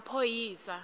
yemaphoyisa